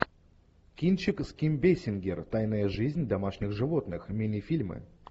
кинчик с ким бейсингер тайная жизнь домашних животных минифильмы